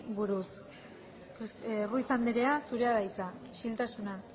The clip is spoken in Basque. buruz ruiz anderea zurea da hitza isiltasuna